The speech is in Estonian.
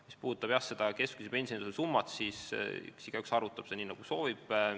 Mis puudutab keskmise pensionitõusu summat, siis igaüks arvutab seda nii, nagu soovib.